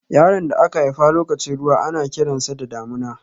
Yaron da aka haifa lokacin ruwa ana kiran sa da Damina.